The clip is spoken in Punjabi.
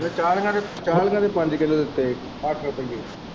ਫ਼ੇ ਚਾਲੀਆਂ ਦੇ ਚਾਲੀਆਂ ਦੇ ਪੰਜ ਕਿਲੋ ਦਿੱਤੇ ਅੱਠ ਰੁਪਈਏ।